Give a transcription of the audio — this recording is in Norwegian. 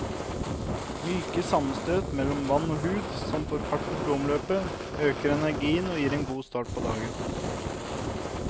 Myke sammenstøt mellom vann og hud som får fart på blodomløpet, øker energien og gir en god start på dagen.